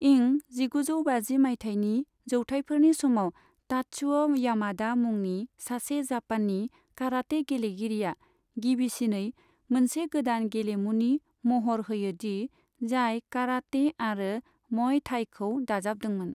इं जिगुजौ बाजि माइथायनि जौथाइफोरनि समाव तात्सुओ यामादा मुंनि सासे जापाननि काराटे गेलेगिरिआ गिबिसिनै मोनसे गोदान गेलेमुनि महर होयोदि जाय कराटे आरो मय थाईखौ दाजाबदोंमोन।